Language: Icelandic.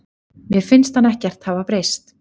Mér finnst hann ekkert hafa breyst.